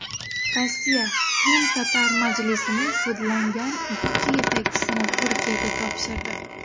Rossiya Qrimtatar majlisining sudlangan ikki yetakchisini Turkiyaga topshirdi.